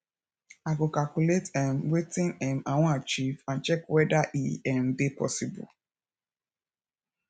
i go calculate um wetin um i wan achieve and check weda e um dey possible